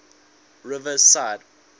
riverside